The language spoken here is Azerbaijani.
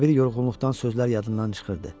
Ara bir yorğunluqdan sözlər yadından çıxırdı.